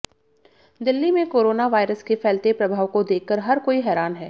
दिल्ली में corona virus के फैलते प्रभाव को देखकर हर कोई हैरान है